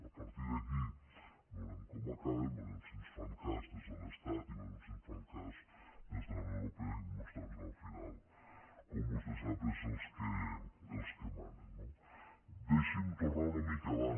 a partir d’aquí veurem com acaba veurem si ens fan cas des de l’estat i veurem si ens fan cas des de la unió europea que al final com vostè sap són els que manen no deixi’m tornar una mica abans